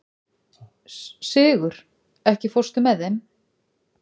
Sigur, ekki fórstu með þeim?